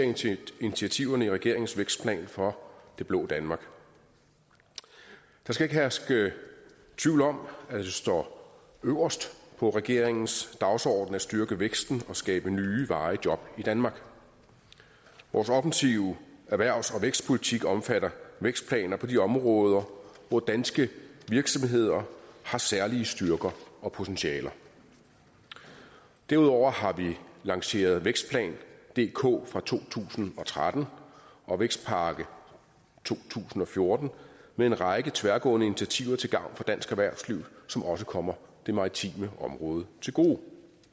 initiativerne i regeringens vækstplan for det blå danmark der skal ikke herske tvivl om at det står øverst på regeringens dagsorden at styrke væksten og skabe nye varige job i danmark vores offensive erhvervs og vækstpolitik omfatter vækstplaner på de områder hvor danske virksomheder har særlige styrker og potentialer derudover har vi lanceret vækstplan dk fra to tusind og tretten og vækstpakke to tusind og fjorten med en række tværgående initiativer til gavn for dansk erhvervsliv som også kommer det maritime område til gode